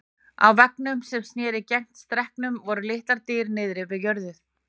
Á veggnum sem sneri gegnt stekknum voru litlar dyr niðri við jörð.